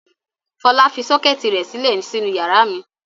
Fọlá fi sọ́kẹ́tì rẹ̀ sílẹ̀ sínú ìyàrá mi.